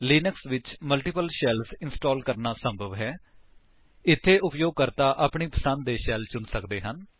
Linux ਵਿੱਚ multiple shells install ਕਰਨਾ ਸੰਭਵ ਹੈ ਅਤੇ ਇਥੇ ਉਪਯੋਗਕਰਤਾ ਆਪਣੀ ਪਸੰਦ ਦੇ ਸ਼ੈਲ ਚੁਣ ਸਕਦੇ ਹਨ